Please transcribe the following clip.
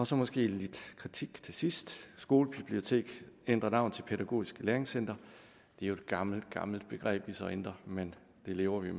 så måske lidt kritik til sidst skolebibliotek ændrer navn til pædagogisk læringscenter det er jo et gammelt gammelt begreb vi så ændrer men det lever vi